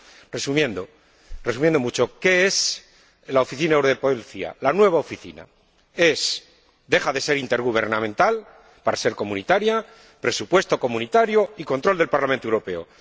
Resumiendo mucho, ¿qué es la Oficina Europea de Policía, la nueva Oficina? Deja de ser intergubernamental para ser comunitaria, con un presupuesto comunitario y con control del Parlamento Europeo.